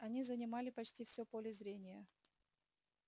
они занимали почти все поле зрения